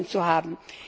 zu haben.